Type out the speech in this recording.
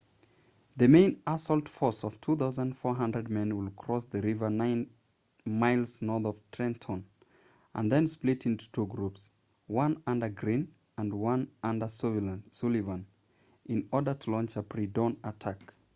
the main assault force of 2,400 men would cross the river nine miles north of trenton and then split into two groups one under greene and one under sullivan in order to launch a pre-dawn attack